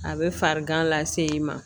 A bɛ farigan lase i ma